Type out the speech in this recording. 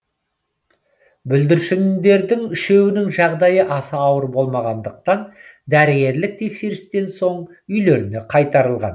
бүлдіршіндердің үшеуінің жағдайы аса ауыр болмағандықтан дәрігерлік тексерістен соң үйлеріне қайтарылған